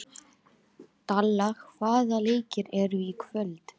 Dalla, hvaða leikir eru í kvöld?